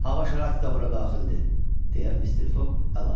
Hava şəraiti də bura daxildir, deyə Mister Foq əlavə elədi.